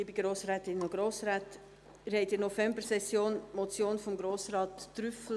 Sie haben in der Novembersession die Motion von Grossrat Trüssel